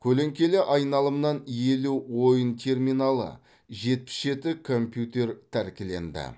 көлеңкелі айналымнан елу ойын терминалы жетпіс жеті компьютер тәркіленді